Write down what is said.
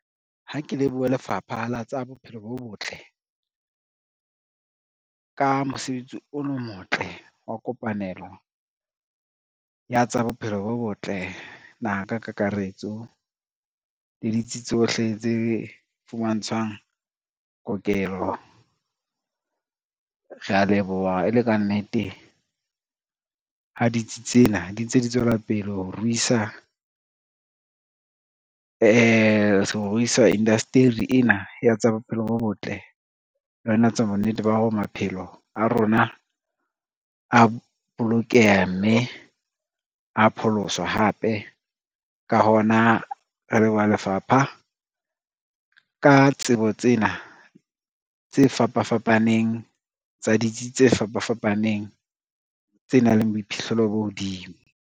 Ha ke lebohe lefapha la tsa bophelo bo botle, ka mosebetsi o motle wa kopanelo ya tsa bophelo bo botle naha ka kakaretso le ditsi tsohle tse fumantshwang kokelo, rea leboha e le kannete ha ditsi tsena di ntse di tswela pele ho ruisa indaeteri ena ya tsa bophelo bo botle le ho etsa bonnete ba hore maphelo a rona a bolokeha mme a pholoswa hape. Ka hona re leboha lefapha ka tsebo tsena tse fapafapaneng tsa ditsi tse fapafapaneng tse nang le boiphihlelo bo hodimo.